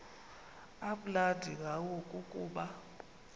amnandi ngayo kukuba